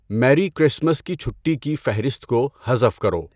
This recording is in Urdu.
میری کرسمس کی چھٹی کی فہرست کو حذف کرو